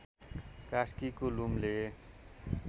कास्कीको लुम्ले